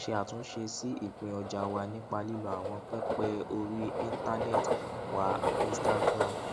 a ń ṣe àtúnṣe sí ìpín ọjà wa nípa lílo àwọn pẹpẹ orí íńtánẹẹtì wa instagram